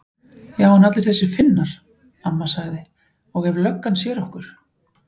Já en allir þessir Finnar. amma sagði. og ef löggan sér okkur.